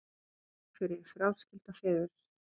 Athvarf fyrir fráskilda feður